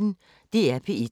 DR P1